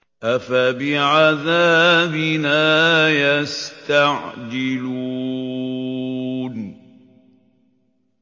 أَفَبِعَذَابِنَا يَسْتَعْجِلُونَ